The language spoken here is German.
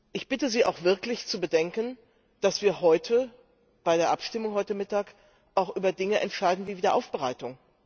Ich bitte Sie auch wirklich zu bedenken, dass wir bei der Abstimmung heute Mittag auch über Dinge entscheiden wie die Wiederaufbereitung.